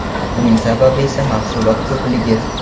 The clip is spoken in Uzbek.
Buning sababi esa mahsulot ko‘pligi.